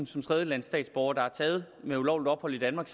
som tredjelandsstatsborger der er taget med ulovligt ophold i danmark